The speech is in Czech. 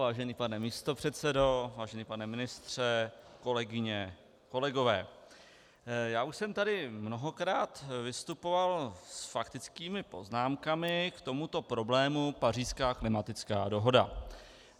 Vážený pane místopředsedo, vážený pane ministře, kolegyně, kolegové, já už jsem tady mnohokrát vystupoval s faktickými poznámkami k tomuto problému Pařížská klimatická dohoda.